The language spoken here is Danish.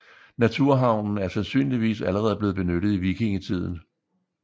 Naturhavnen er sandsynligvis allerede blevet benyttet i vikingetiden